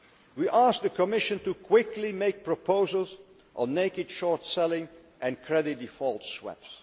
We ask the Commission to quickly make proposals on naked short selling and credit default swaps.